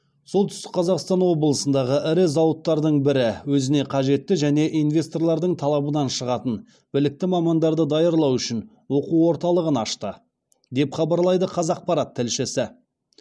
солтүстік қазақстан облысындағы ірі зауыттардың бірі өзіне қажетті және инвесторлардың талабынан шығатын білікті мамандарды даярлау үшін оқу орталығын ашты деп хабарлайды қазақпарат тілшісі